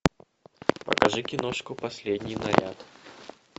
покажи киношку последний наряд